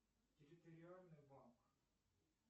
территориальный банк